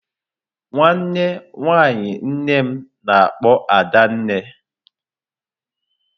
Nwanne nwaanyị nnem na-akpọ Adanne.